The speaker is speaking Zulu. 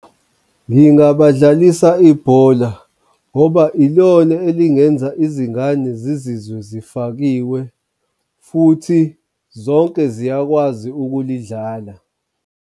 Ngingabadlalisa ibhola ngoba ilona elingenza izingane zizwe zifakiwe futhi zonke ziyakwazi ukulidlala.